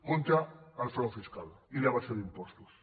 contra el frau fiscal i l’evasió d’impostos